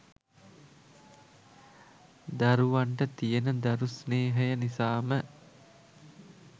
දරුවන්ට තියෙන දරු ස්නේහය නිසාම